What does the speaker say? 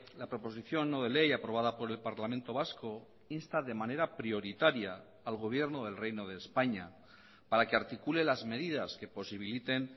la proposición no de ley aprobada por el parlamento vasco insta de manera prioritaria al gobierno del reino de españa para que articule las medidas que posibiliten